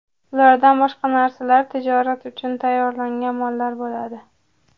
Ulardan boshqa narsalar tijorat uchun tayyorlangan mollar bo‘ladi.